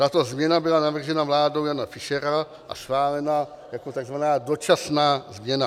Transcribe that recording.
Tato změna byla navržena vládou Jana Fischera a schválena jako tzv. dočasná změna.